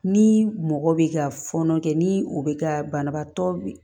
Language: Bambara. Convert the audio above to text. Ni mɔgɔ bɛ ka fɔɔnɔ kɛ ni o bɛ ka banabaatɔ